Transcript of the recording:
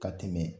Ka tɛmɛ